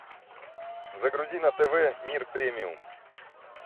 загрузи на тв мир премиум